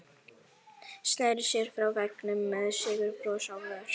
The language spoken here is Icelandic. Sneri sér frá veggnum með sigurbros á vör.